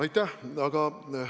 Aitäh!